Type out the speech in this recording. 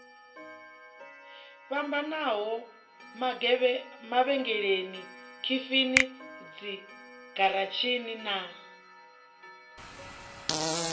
fhambanaho mavhengeleni khefini dzigaratshini na